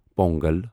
Pongal